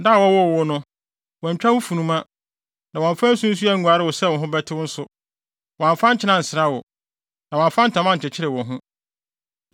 Da a wɔwoo wo no, wɔantwa wo funuma, na wɔamfa nsu anguare wo sɛ wo ho bɛtew nso, wɔamfa nkyene ansra wo, na wɔamfa ntama ankyekyere wo ho.